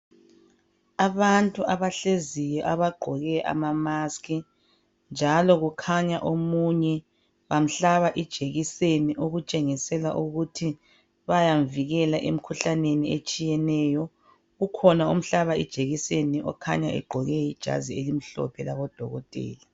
abantu abahleziyo abagqoke ama mask njalo kukhanya omunye bamhlaba ijekiseni okutshengisela ukuthi bayamvila emkhuhlaneni etshiyeneyo ukhona omhlaba ijekiseni okhanya egqoke ijazi elimhlophe labo dokotela